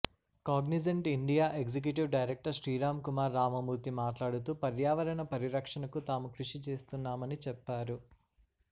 Cognizant India executive director Sriram Kumar Ramamurthy మాట్లాడుతూ పర్యావరణ పరిరక్షణకు తాము కృషి చేస్తున్నామని చెప్పారు